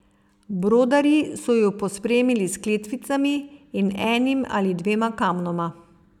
Brodarji so ju pospremili s kletvicami in enim ali dvema kamnoma.